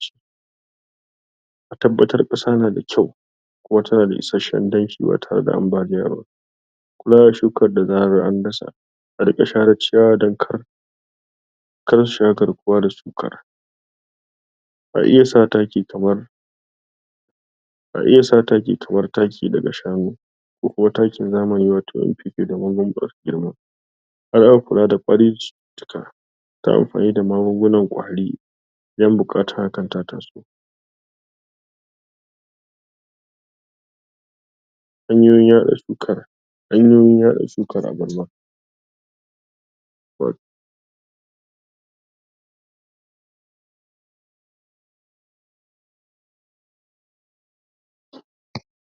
don tabbatar da ingancin jinya ga al'umma.